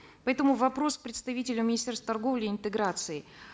поэтому вопрос к представителю министерства торговли и интеграции